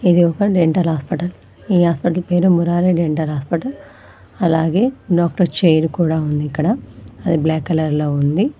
ఇది ఒక dental hospital ఈ హాస్పటల్ పేరు మురారి డెంటల్ హాస్పటల్ అలాగే డాక్టర్ చైర్ కూడా ఉంది ఇక్కడ అది బ్లాక్ కలర్ లో ఉంది.